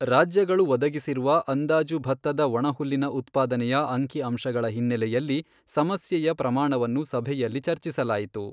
ರಾಜ್ಯಗಳು ಒದಗಿಸಿರುವ ಅಂದಾಜು ಭತ್ತದ ಒಣಹುಲ್ಲಿನ ಉತ್ಪಾದನೆಯ ಅಂಕಿಅಂಶಗಳ ಹಿನ್ನೆಲೆಯಲ್ಲಿ ಸಮಸ್ಯೆಯ ಪ್ರಮಾಣವನ್ನು ಸಭೆಯಲ್ಲಿ ಚರ್ಚಿಸಲಾಯಿತು.